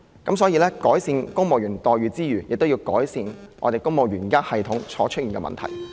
因此，在改善公務員待遇之餘，也要改善公務員系統現時出現的問題。